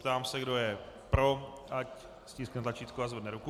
Ptám se, kdo je pro, ať stiskne tlačítko a zvedne ruku.